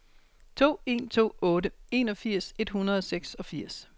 to en to otte enogfirs et hundrede og seksogfirs